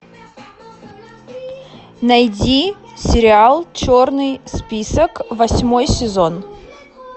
найди сериал черный список восьмой сезон